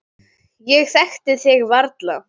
Ég þekkti þig varla.